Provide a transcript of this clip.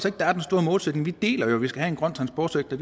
at der er den store modsætning vi deler jo at vi skal have en grøn transportsektor